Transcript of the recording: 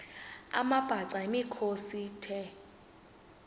amabhaca yimikhosi the